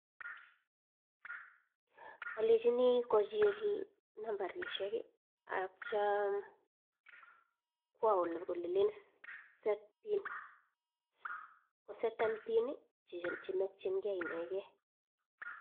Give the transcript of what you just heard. Alechini kochil nambarishek atyam kwa ole len set pin koseten pin chemakchinge inegen.